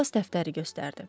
Duqlas dəftəri göstərdi.